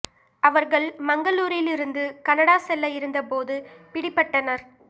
அவர்கள் மங்களூருரில் இருந்து கனடா செல்ல இருந்த போது பிடிபட்டனர்